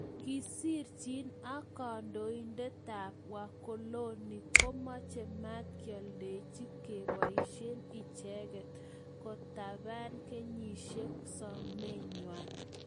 Kisirchin:ak kandoinatetap ap wakolonik komache mat kioldechi kepoishen icheget. Kopaten kigiyesienjin somenywan.